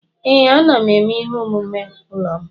Ee, m na-eme ihe omume ụlọ m.